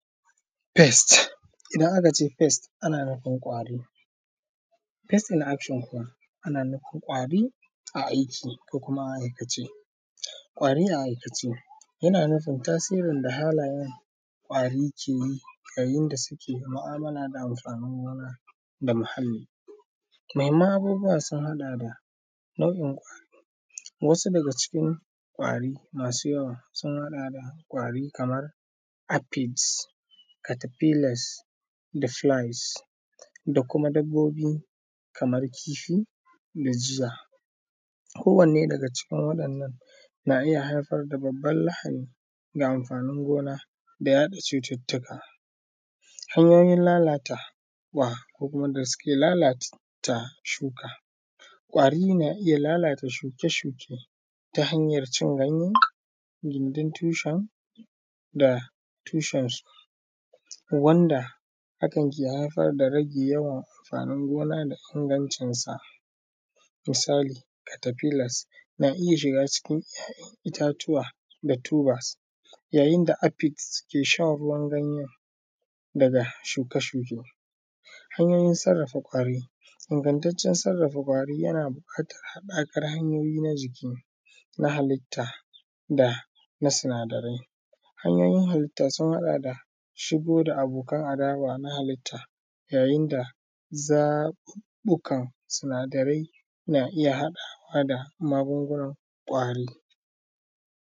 Pest, idan akace pest ana nufin ƙwari. Pest in action kuma ana nufin ƙwari a aiki ko kuma a aikace, ƙwari a aikace, yana nufin tasirin da halayen ƙwari ke yi yayin da suke mu’amala da amfanin gona da muhalli. Muhimman abubuwa sun haɗa da nau’in ƙwari, wasu daga cikin ƙwari masu yawa sun haɗada ƙwari kamar; aphids, caterpillars da flies da kuma dabbobi kamar kifi da jiya. Kowanne daga cikin waɗannan na iya haifar da babbar lahani ga amfanin gona da yaɗa cututtuka, hanyoyin lalatawa ko kuma wanda suke lalata shuka, ƙwari na iya lalata shuke-shuke, ta hanyar cin ganye, gindin tushen da tushen su, wanda hakan ke haifar da rage yawan amfanin gona da ingancin sa, misali caterpillars na iya shiga cikin ‘ya’yan itatuwa da tubers, yayin da aphids suke shan ruwan ganyen daga shuke-shuken. Hanyoyin sarrafa ƙwari, ingantaccen sarrafa ƙwari yana buƙatar haɗakar hanyoyi na jiki na halitta dana sinadarai, hanyoyin halitta sun haɗa da, shigowa da abokanan adawa na halitta, yayin da zaɓuɓɓukan sinadarai na iya haɗawa da magungunan ƙwari.